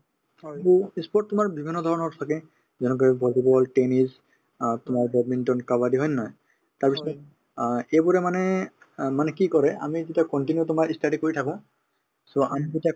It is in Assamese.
to ই sport তোমাৰ বিভিন্ন ধৰণৰ থাকে যেনেকে volleyball, tennis অ তোমাৰ badminton, kabaddi হয় নে নহয় তাৰপিছতে অ এইবোৰে মানে অ মানে কি কৰে আমি যেতিয়া continue তোমাৰ ই study কৰি থাকো so আমি যেতিয়া